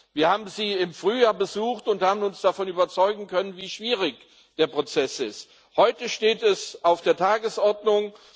Wir haben sie im Frühjahr besucht und haben uns davon überzeugen können, wie schwierig der Prozess ist. Heute steht es auf der Tagesordnung.